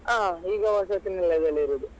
ಹ ಈಗ ವಸತಿ ನಿಲಯದಲ್ಲಿ ಇರುದು.